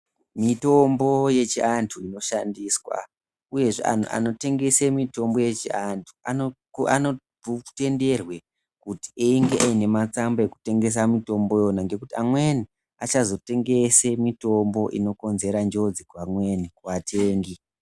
Mitombo yechianthu inoshandiswa uyezve anhu anotengese mitombo yechianthu anotenderwe kuti einge ane matsamba ekutengesa mitombo yona iyoyo ngekuti amweni achazotengese mitombo inkonzera njodzi kuamweni kuatengi.